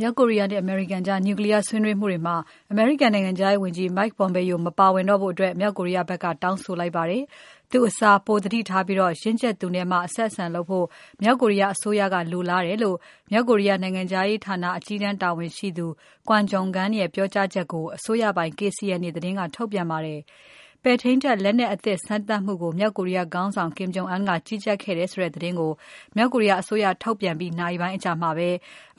မြောက်ကိုရီးယားနဲ့ အမေရိကန်ကြား နျူကလီးယား ဆွေးနွေးမှုတွေမှာ အမေရိကန်နိုင်ငံခြားရေးဝန်ကြီး Mike Pompeo မပါဝင်တော့ဖို့ မြောက်ကိုရီးယားဖက်က တောင်းဆိုလိုက်ပါတယ်။ သူ့အစား ပိုသတိထားပြီး ရင့်ကြက်သူနဲ့မှ အဆက်အဆံလုပ်ဖို့ မြောက်ကိုရီးယားအစိုးရက လိုလားတယ်လို့ မြောက်ကိုရီးယား နိုင်ငံခြားရေးဌာနအကြီးတန်းတာဝန်ရှိသူ Kwon Jong Gun ရဲ့ပြောကြားချက်ကို အစိုးရပိုင် KCNA သတင်းက ထုတ်ပြန်ပါတယ်။ ပဲ့ထိန်းတပ်လက်နက်အသစ်စမ်းသပ်မှုကို မြောက်ကိုရီးယားခေါင်းဆောင် Kim Jong Un က ကြီးကြပ်ခဲ့တယ်ဆိုတဲ့သတင်းကို မြောက်ကိုရီးယားအစိုးရက ထုတ်ပြန်ပြီးနာရီပိုင်းအကြာမှာပဲ